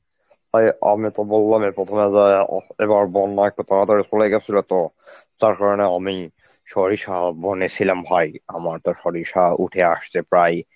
অ্যাঁ আমি তো বললামই প্রথমে যে এবার বন্যা একটু তাড়াতাড়ি সরে গেছিল তো তার কারণে আমি সরিষা বনেছিলাম ভাই. আমার তো সরিষা উঠে আসছে প্রায়